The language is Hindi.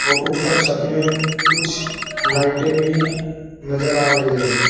और ऊपर छत में कुछ लाइटें भी नजर आ रही है।